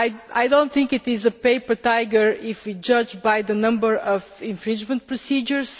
I do not think it is a paper tiger if we judge by the number of infringement procedures.